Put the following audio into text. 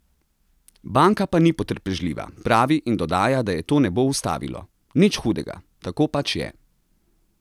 Banka pa ni potrpežljiva," pravi in dodaja, da je to ne bo ustavilo: "Nič hudega, tako pač je.